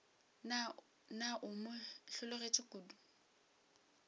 na o mo hlologetše kodu